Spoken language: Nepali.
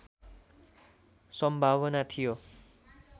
सम्भावना थियो